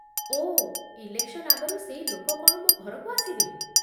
ଓଃ, election ଆଗରୁ ସେଇ ଲୋକ କ'ଣ ମୋ ଘରକୁ ଆସିବେ?